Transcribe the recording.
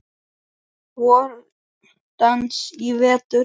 VorDans í vetur.